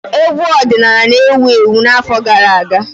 Egwu ọdịnala na-ewu ewu n'afọ gara aga.